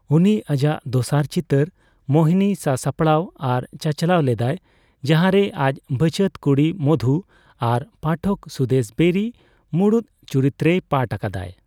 ᱩᱱᱤ ᱟᱡᱟᱜ ᱫᱚᱥᱟᱨ ᱪᱤᱛᱟᱹᱨ ᱢᱳᱦᱤᱱᱤ ᱥᱟᱥᱟᱯᱲᱟᱣ ᱟᱨ ᱪᱟᱪᱞᱟᱣ ᱞᱮᱫᱟᱭ, ᱡᱟᱦᱟᱸᱨᱮ ᱟᱡ ᱵᱷᱟᱪᱟᱹᱛ ᱠᱩᱲᱤ ᱢᱚᱫᱷᱩ ᱟᱨ ᱯᱟᱴᱷᱚᱠ ᱥᱩᱫᱮᱥ ᱵᱮᱨᱤ ᱢᱩᱲᱩᱫ ᱪᱩᱨᱤᱛᱨᱮᱭ ᱯᱟᱴᱷ ᱟᱠᱟᱫᱟᱭ ᱾